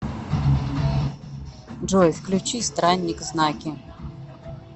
джой включи странник знаки